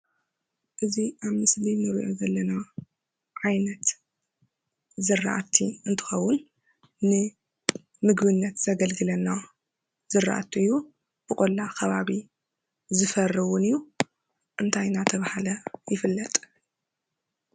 እዚ ኣብ ምስሊ እንሪኦ ዘለና ዓይነት ዝራእቲ እንተከውን ንምግብነት ዘገልግለና ዝራእቲ እዩ፡፡ ብቆላ ከባቢ ዝፈሪ እውን እዩ፡፡ እንታይ እንዳተባሃለ ይፍለጥ?